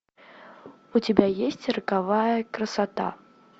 у тебя есть роковая красота